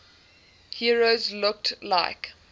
heroes looked like